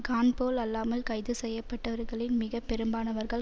காண் போல் அல்லாமல் கைது செய்ய பட்டவர்களின் மிக பெரும்பாலனவர்கள்